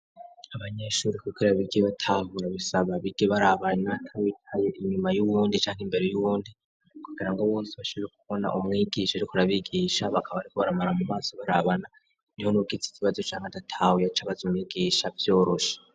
Abanyeshure kugira bigi batahura bisaba bige barabana ntawicaye inyuma y'uwundi canka imbere y'uwundi kugira ngo bose bashobore kubona umwigisha ariko arabigisha bakaba bariko baramuraba mu maso barabana niho n'uwugize ikibazo canga adatahuye aca abaza migisha umwigisha vyoroshe.